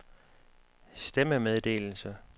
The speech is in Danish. stemmemeddelelse